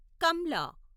Kamla